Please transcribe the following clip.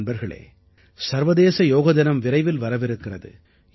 நண்பர்களே சர்வதேச யோக தினம் விரைவில் வரவிருக்கிறது